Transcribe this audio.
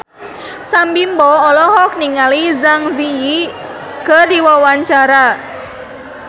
Sam Bimbo olohok ningali Zang Zi Yi keur diwawancara